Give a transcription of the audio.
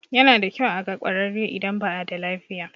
Yana da kyau a ga ƙwararre idan ba a da lafiya.